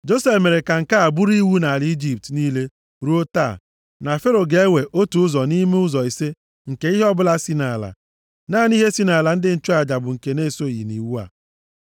Josef mere ka nke a bụrụ iwu nʼala Ijipt niile ruo taa, na Fero ga-ewe otu ụzọ nʼime ụzọ ise nke ihe ọbụla si nʼala. Naanị ihe si nʼala ndị nchụaja bụ nke na-esoghị nʼiwu a.